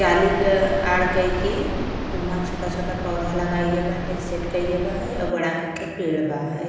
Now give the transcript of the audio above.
जाली के आड़ कइके उमा छोटा छोटा पौधा लगाइ गई बाटे सेट कई बा और बड़ा कई के पेड़ बा।